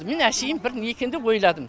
мен әшейін бір не екен деп ойладым